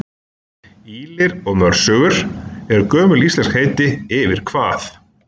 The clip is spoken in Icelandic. Ýlir og mörsögur eru gömul íslensk heiti yfir hvað?